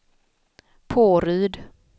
Påryd